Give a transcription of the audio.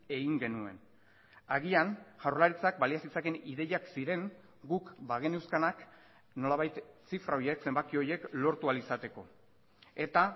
egin genuen agian jaurlaritzak balia zitzakeen ideiak ziren guk bageneuzkanak nolabait zifra horiek zenbaki horiek lortu ahal izateko eta